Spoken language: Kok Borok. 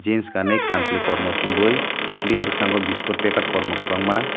jeans janui kanchwli kormo chumui bini bwsgango biskut packet kwbangma.